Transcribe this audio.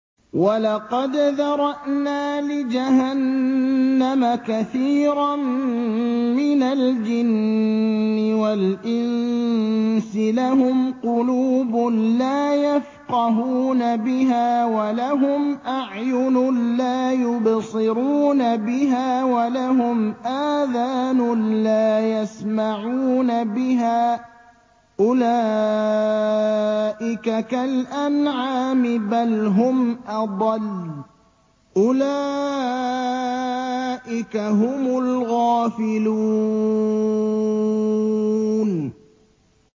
وَلَقَدْ ذَرَأْنَا لِجَهَنَّمَ كَثِيرًا مِّنَ الْجِنِّ وَالْإِنسِ ۖ لَهُمْ قُلُوبٌ لَّا يَفْقَهُونَ بِهَا وَلَهُمْ أَعْيُنٌ لَّا يُبْصِرُونَ بِهَا وَلَهُمْ آذَانٌ لَّا يَسْمَعُونَ بِهَا ۚ أُولَٰئِكَ كَالْأَنْعَامِ بَلْ هُمْ أَضَلُّ ۚ أُولَٰئِكَ هُمُ الْغَافِلُونَ